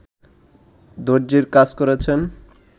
দর্জির কাজ করছেন